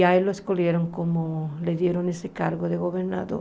E a ele escolheram como... lhe deram esse cargo de governador.